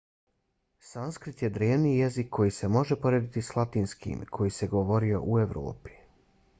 sanskrit je drevni jezik koji se može porediti s latinskim koji se govorio u evropi